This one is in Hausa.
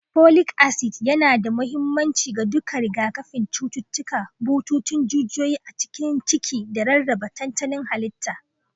Folic acid yana da mahimmanci ga duka rigakafin cututtukan bututun jijiyoyi a cikin ciki da rarraba tantanin halitta.